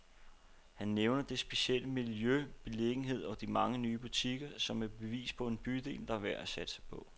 Han nævner det specielle miljø, beliggenheden og de mange nye butikker, som et bevis på en bydel, der er værd at satse på.